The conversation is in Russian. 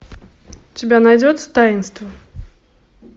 у тебя найдется таинство